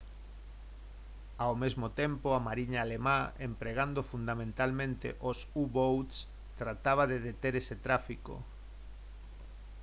ao mesmo tempo a mariña alemá empregando fundamentalmente os u-boats trataba de deter ese tráfico